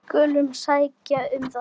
Við skulum sækja um það.